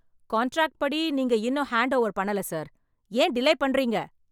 Contract படி நீங்க இன்னும் ஹேண்ட் ஓவர் பண்ணல சார். ஏன் டிலே பண்றீங்க?